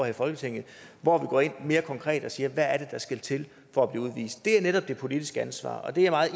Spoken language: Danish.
i folketinget hvor vi går ind mere konkret og siger hvad det er der skal til for at blive udvist det er netop det politiske ansvar og det er jeg